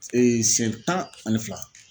S siɲɛ tan ani fila